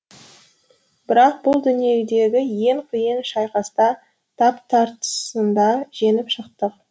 бірақ бұл дүниедегі ең қиын шайқаста тап тартысында жеңіп шықтық